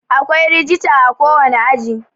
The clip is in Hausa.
akwai rijita a kowane aji